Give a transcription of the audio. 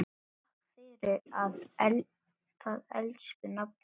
Takk fyrir það, elsku nafni.